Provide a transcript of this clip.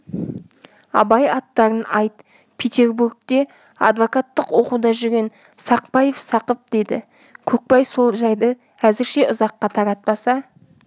абай аттарын айт петербургте адвокаттық оқуда жүрген сақпаев сақып деді көкбай сол жайды әзірше ұзаққа таратпаса